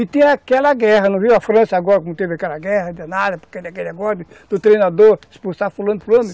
E tem aquela guerra, não viu a França agora, que não teve aquela guerra, de nada, aquele negócio do treinador expulsar fulano, fulano?